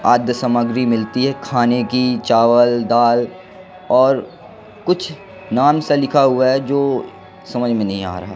आद्य सामग्री मिलती है खाने की चावल दाल और कुछ नाम सा लिखा हुआ है जो समझा में नहीं आ रहा।